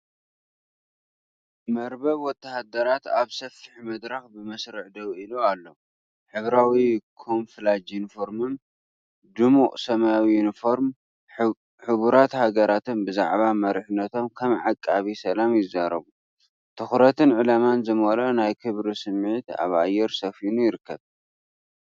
መርበብ ወተሃደራት ኣብ ሰፊሕ መድረኽ ብመስርዕ ደው ኢሉ ኣሎ። ሕብራዊ ካሞፍላጅ ዩኒፎርሞምን ድሙቕ ሰማያዊ ዩኒፎርም ሕቡራት ሃገራትን ብዛዕባ መሪሕነቶም ከም ዓቃቢ ሰላም ይዛረቡ። ትኹረትን ዕላማን ዝመልኦ ናይ ክብሪ ስምዒት ኣብ ኣየር ሰፊኑ ይርከብ።